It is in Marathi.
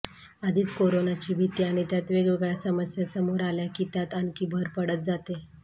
आधीच कोरोनाची भीती आणि त्यात वेगवेगळ्या समस्या समोर आल्या की त्यात आणखी भर पडत जाते